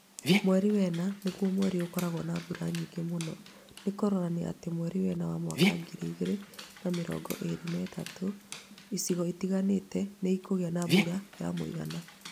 Mweri wena nĩ guo mweri ũrĩa ũkoragwo na mbura nyingĩ mũno. Nĩ kũronania atĩ mweri wena wa mwaka 2023 ,icigo itiganĩte nĩ ikũgĩa mbura ya mũigana.